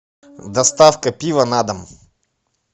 доставка пива на дом